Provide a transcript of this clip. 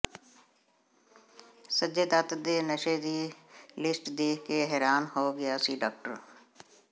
ਸੰਜੇ ਦੱੱਤ ਦੇ ਨਸ਼ੇ ਦੀ ਲਿਸਟ ਦੇਖ ਕੇ ਹੈਰਾਨ ਹੋ ਗਿਆ ਸੀ ਡਾਕਟਰ